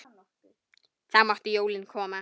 Þá máttu jólin koma.